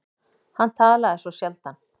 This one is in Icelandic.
Hann talaði svo sjaldan.